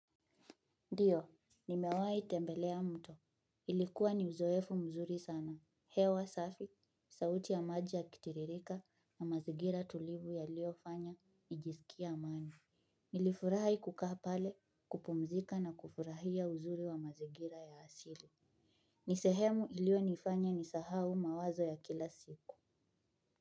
Ndiyo, nimewahi tembelea mto. Ilikuwa ni uzoefu mzuri sana. Hewa safi, sauti ya maji yakitiririka na mazingira tulivu yaliyofanya, nijisikie amani. Nilifurahi kukaa pale, kupumzika na kufurahia uzuri wa mazingira ya asili. Ni sehemu iliyonifanya nisahau mawazo ya kila siku.